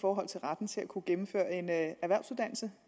forhold til retten til at kunne gennemføre en erhvervsuddannelse